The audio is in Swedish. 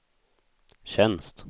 tjänst